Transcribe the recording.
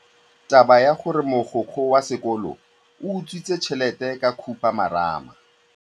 Taba ya gore mogokgo wa sekolo o utswitse tšhelete ke khupamarama.